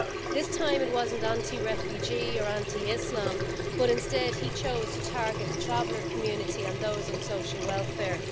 This time, it wasn't anti refugee or anti Islam, but instead he chose to target the traveller community and those on social welfare.